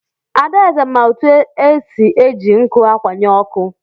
Adaeze ma otu esi eji nkụ akwanye ọkụ.